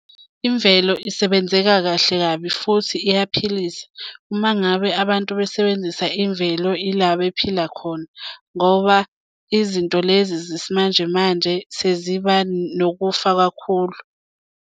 Imvelo isebenzeka kahle kabi futhi iyaphilisa uma ngabe abantu besebenzisa imvelo ila bephila khona ngoba izinto lezi zesimanje manje seziba nokufa kakhulu.